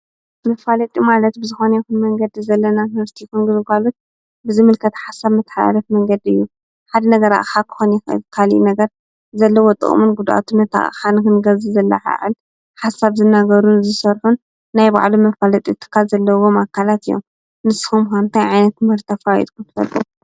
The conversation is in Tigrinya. መፋልጥ ዶማለት ብዝኾነ ይኹን መንገዲ ዘለና ንበርስቲ ይኹንግዝጓሉት ብዝምልከት ሓሳብ መተልለት መንገዲ እዩ ሓድ ነገራ ኻኾን ትካል ነገር ዘለ ወጥኦሙን ጕድኣቱ ነታ ሓንክንገዘ ዘለሓይዕል ሓሳብ ዝነገሩን ዙይሠርኁን ናይ ባዕሉ መፋልጥ እትካ ዘለቦ ማካላት እዮም ንስሆምሓንታይ ዓይነት መርተፋ ይትምትወሉ።